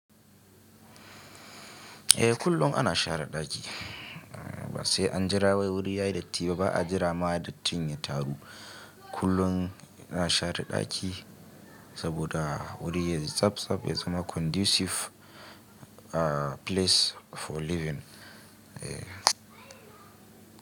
Eh kullum ana share ɗaki, ba sai an jira wai wuri ya yi datti ba, ba a jira ma datin ya taru. Kullum ana share ɗaki saboda wuri yayi tsabtsab, ya zama conducive place for living.